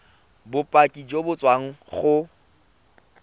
bopaki jo bo tswang go